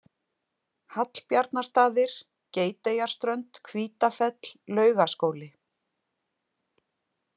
Hallbjarnarstaðir, Geiteyjarströnd, Hvítafell, Laugaskóli